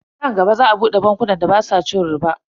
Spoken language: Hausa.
Nan gaba za a bude bankunan da basu cin riba.